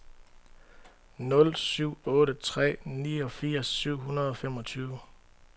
nul syv otte tre niogfirs syv hundrede og femogtyve